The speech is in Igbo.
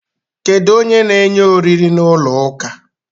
Kedu onye na enye oriri na ụlọ ụka?